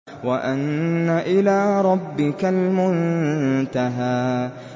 وَأَنَّ إِلَىٰ رَبِّكَ الْمُنتَهَىٰ